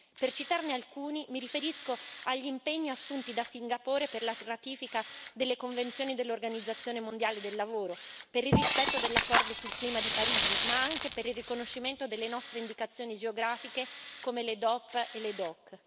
Per citarne alcuni, mi riferisco agli impegni assunti da Singapore per la ratifica delle convenzioni dell'Organizzazione mondiale del lavoro, per il rispetto dell'accordo sul clima di Parigi, ma anche per il riconoscimento delle nostre indicazioni geografiche, come le DOP, le DOC.